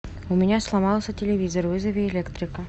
у меня сломался телевизор вызови электрика